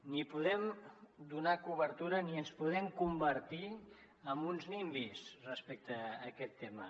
ni podem donar cobertura ni ens podem convertir en uns nimbys respecte a aquest tema